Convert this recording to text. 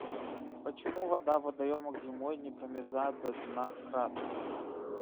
почему вода в водоемах зимой не промерзает до дна кратко